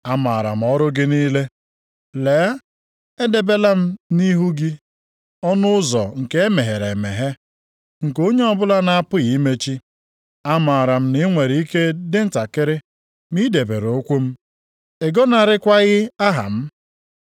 Amaara m ọrụ gị niile. Lee, edebela m nʼihu gị ọnụ ụzọ nke e meghere emeghe, nke onye ọbụla na-apụghị imechi. Amaara m na i nwere ike dị ntakịrị, ma i debere okwu m, ị gọnarịkwaghị aha m.